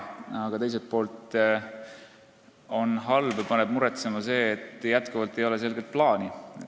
Aga teiselt poolt paneb muretsema, et endiselt ei ole selget plaani.